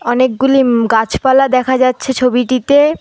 অনেকগুলি উম গাছপালা দেখা যাচ্ছে ছবিটিতে।